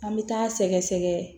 An bɛ taa sɛgɛsɛgɛ